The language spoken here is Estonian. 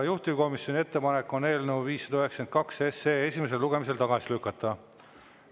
Juhtivkomisjoni ettepanek on eelnõu 592 esimesel lugemisel tagasi lükata.